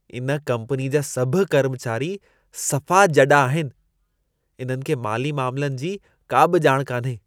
इन कम्पनीअ जा सभु कर्मचारी सफ़ा जॾा आहिनि। इन्हनि खे माली मामलनि जी का बि ॼाण कान्हे।